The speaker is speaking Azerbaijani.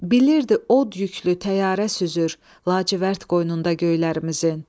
Bilirdi od yüklü təyyarə süzür, lacivərd qoynunda göylərimizin.